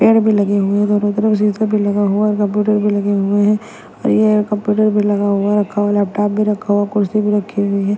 पेड़ भी लगे हुए दोनों तरफ शीशा भी लगा हुआ है कंप्यूटर भी लगे हुए हैं और ये कंप्यूटर भी लगा हुआ रखा हुआ लैपटॉप भी रखा हुआ कुर्सी भी रखी हुई है।